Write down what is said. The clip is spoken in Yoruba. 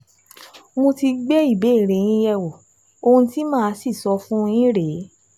Mo ti gbé ìbéèrè yín yẹ̀wò, ohun tí màá sì sọ fún yín rèé